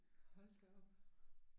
Hold da op